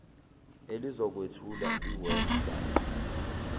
elizokwethula iweb site